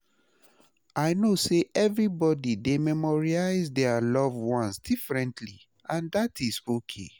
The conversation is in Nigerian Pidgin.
I know say everybody dey memorialize dia loved ones differently, and dat is okay.